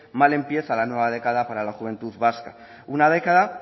mal empieza la nueva década para la juventud vasca una década